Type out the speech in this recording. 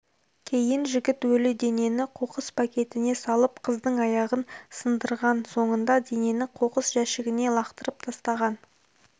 кейін жігіт өлі денені қоқыс пакетіне салып қыздың аяғын сындырған соңында денені қоқыс жәшігіне лақтырып тастаған